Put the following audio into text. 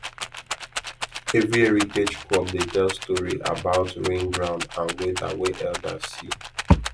every heritage crop dey tell story about rain ground and weather wey elders see